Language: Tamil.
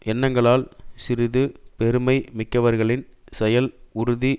எண்ணங்களால் சிறுது பெருமை மிக்கவர்களின் செயல் உறுதி